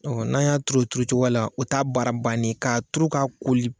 Ɔ n'a y'a turu o turu cogoya la o t'a baara ba ne ye ka turu ka koli.